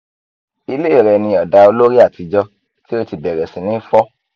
ilé rẹ ní ọ̀dà olórí àtijọ́ tí ó ti bẹ̀rẹ̀ sí ní fọ́